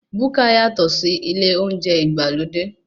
Búkà yàtọ̀ sí ilé oúnjẹ ìgbàlódé.